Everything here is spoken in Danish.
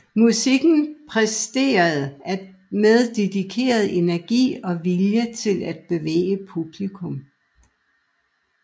Musikken præsenteres med dedikeret energi og vilje til at bevæge publikum